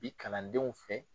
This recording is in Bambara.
Bi kalandenw fɛ